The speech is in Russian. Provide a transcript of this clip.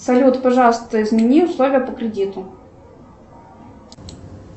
салют пожалуйста измени условия по кредиту